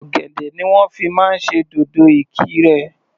Ọ̀gẹ̀dẹ̀ ni wọ́n fi máa ń ṣe dòdò Ìkirè.